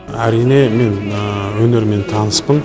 әрине мен өнерімен таныспын